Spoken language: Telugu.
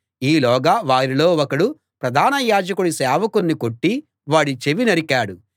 ఈలోగా వారిలో ఒకడు ప్రధాన యాజకుడి సేవకుణ్ణి కొట్టి వాడి చెవి నరికాడు